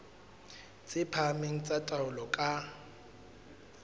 tse phahameng tsa taolo ka